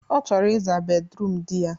Ọ chọrọ ị zaa bedruum di ya.